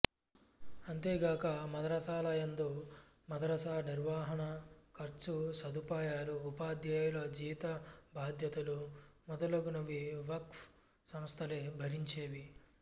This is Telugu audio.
అంతేగాక మదరసాలయందు మదరసా నిర్వహణ ఖర్చు సదుపాయాలు ఉపాధ్యాయుల జీతభత్యాలు మొదలగునవి వక్ఫ్ సంస్థలే భరించేవి